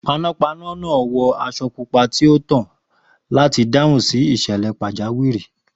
Panápaná náà wọ aṣọ pupa tó tàn láti dáhùn sí ìṣẹ̀lẹ̀ pàjáwìrì.